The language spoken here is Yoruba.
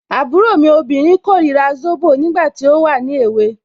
Àbúrò mi obìnrin korira zobo, nígbà tí ó wà ní èwe.